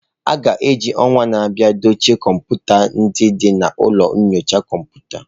A ga-eji ọnwa na-abịa dochie kọmputa ndị dị na ụlọ nyocha kọmputa.